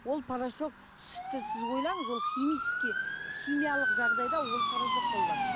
ол порошок сүтті сіз ойлаңыз ол химический химиялық жағдайда ол порошок